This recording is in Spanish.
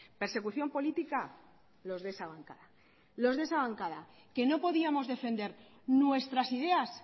persecución política los de esa bancada los de esa bancada que no podíamos defender nuestras ideas